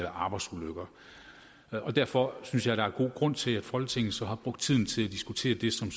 arbejdsulykker derfor synes jeg der er god grund til at folketinget så har brugt tiden til at diskutere det som